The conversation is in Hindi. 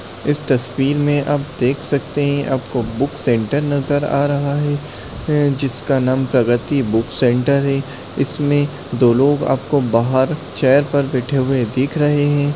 इस तस्वीर मैं आप देख सकते हैं आपको बुक सेंटर नजर आ रहा है जिसका नाम प्रगति बुक सेंटर है इसमे दो लोग आपको बाहर चेयर पर बैठे हुए दिख रहे हैं।